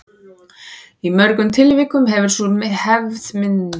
Í mörgum tilvikum hefur sú hefð myndast að staðfæra nöfn á löndum og borgum.